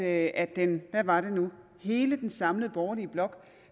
at den hvad var det nu hele den samlede borgerlige blok